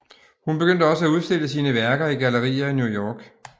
Hun begyndte også at udstille sine værker i gallerier i New York